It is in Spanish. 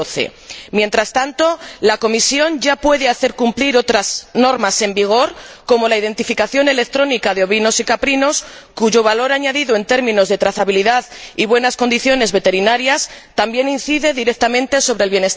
2012. Mientras tanto, la Comisión ya puede hacer cumplir otras normas en vigor, como la identificación electrónica de ovinos y caprinos, cuyo valor añadido en términos de trazabilidad y buenas condiciones veterinarias también incide directamente sobre el bienestar animal.